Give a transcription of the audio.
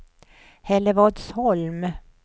Hällevadsholm